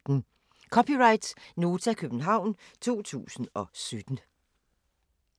(c) Nota, København 2017